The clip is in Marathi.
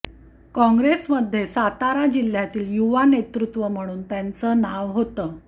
कॉंग्रेसमध्ये सातारा जिल्ह्यातील युवा नेतृत्व म्हणून त्यांचं नाव होतं